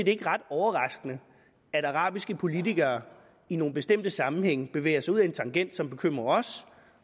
ikke ret overraskende at arabiske politikere i nogle bestemte sammenhænge bevæger sig ud ad en tangent som bekymrer os